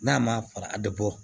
N'a ma fara a bɛ bɔ